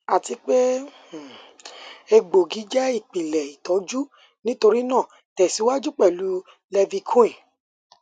ati pe um egboogi jẹ ipilẹ itọju nitorinaa tẹsiwaju pẹlu leviquin